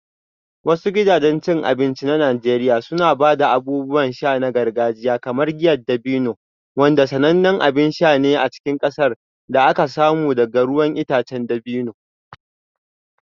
Wasu gidajen cin abinci na Najeriya suna ba da abubuwan sha na gargajiya kamar giyar dabino, wanda sanannen abin sha ne a cikin ƙasar da aka samu daga ruwan itacen dabino.